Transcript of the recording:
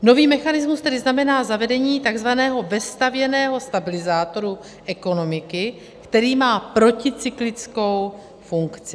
Nový mechanismus tedy znamená zavedení takzvaného vestavěného stabilizátoru ekonomiky, který má proticyklickou funkci.